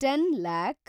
ten lac